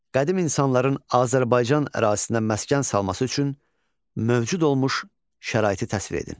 Qədim insanların Azərbaycan ərazisində məskən salması üçün mövcud olmuş şəraiti təsvir edin.